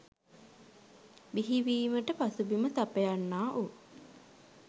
බිහිවීමට පසුබිම සපයන්නා වූ